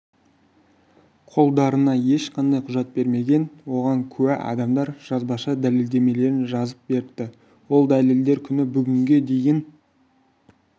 қолдарына ешқандай құжат бермеген оған куә адамдар жазбаша дәлелдемелерін жазып беріпті ол дәлелдер күні бүгінге дейін